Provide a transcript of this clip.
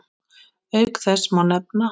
Auk þess má nefna